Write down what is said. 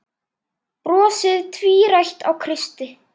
Brosið tvírætt á Kristi.